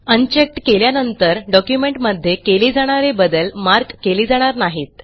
unchecked केल्यानंतर डॉक्युमेंटमध्ये केले जाणारे बदल मार्क केले जाणार नाहीत